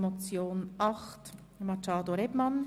Es folgt Traktandum 8.